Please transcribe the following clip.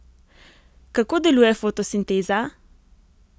Kako deluje fotosinteza?